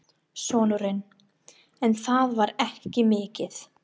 Sonurinn: En það var ekki mikið.